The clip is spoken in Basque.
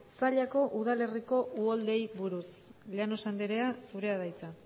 zallako udalerriko uholdeei buruz llanos andrea zurea da hitza